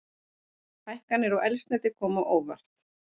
Hækkanir á eldsneyti koma á óvart